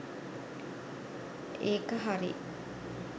ඒක හරි!